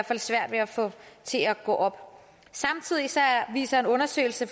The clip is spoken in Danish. fald svært ved at få til at gå op samtidig viser en undersøgelse